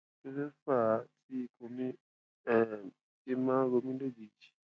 kí ló fà á tí ikùn mi um fi máa ń ro mí lójijì